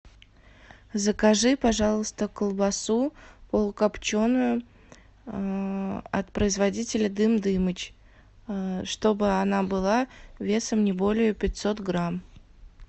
закажи пожалуйста колбасу полукопченую от производителя дым дымыч чтобы она была весом не более пятьсот грамм